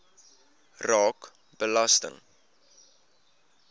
raak belasting